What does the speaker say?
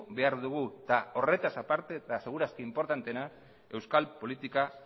behar dugu eta horretaz aparte eta seguru aski inportanteena euskal politika